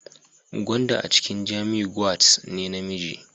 Gwanda a cikin Jamiu gwads ne na namiji